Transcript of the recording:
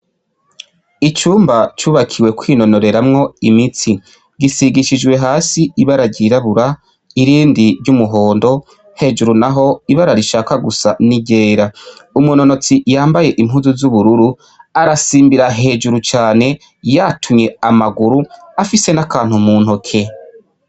Icumba cybakiwe kwinonoreramwo imitsi gisigishije hasi ibara ryirabura nirindi ryumuhondo hejuru naho ibara rishaka gusa ni ryera umunonotsi yambaye impuzu z'ubururu arasimbira hejuru yatunye amaguru afise nakantu muntoke.